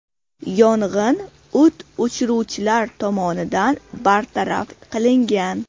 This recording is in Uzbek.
Yong‘in o‘t o‘chiruvchilar tomonidan bartaraf qilingan.